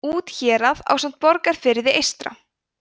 úthérað ásamt borgarfirði eystra